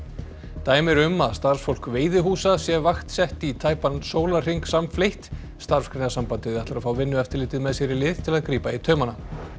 dæmi eru um að starfsfólk veiðihúsa sé vaktsett í tæpan sólarhring samfleytt Starfsgreinasambandið ætlar að fá Vinnueftirlitið með sér í lið til að grípa í taumana